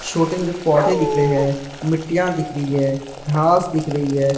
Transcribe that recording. छोटे हैं जो पौधे दिख रहे हैं मिट्टियां दिख रही है घास दिख रही है।